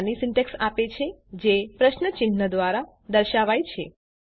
આ નાની સીન્ટેક્ષ આપે છે અને તે પ્રશ્ન ચિન્હ દ્વારા દર્શાવાય છે